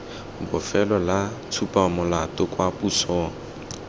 bofelo la tshupamolato kwa posong